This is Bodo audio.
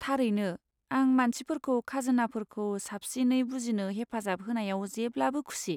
थारैनो, आं मानसिफोरखौ खाजोनाफोरखौ साबसिनै बुजिनो हेफाजाब होनायाव जेब्लाबो खुसि।